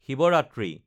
Shivratri